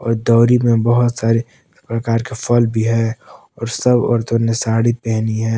दौरी में बहुत सारे प्रकार के फल भी है और सब औरतों ने साड़ी पहनी है।